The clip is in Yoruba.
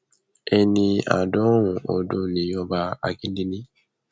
ẹni àádọrùnún ọdún ni ọba akíndélé